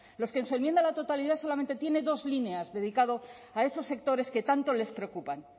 los que en su enmienda a la totalidad solamente tiene dos líneas dedicado a esos sectores que tanto les preocupan